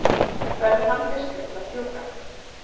verður hann fyrstur til að fjúka?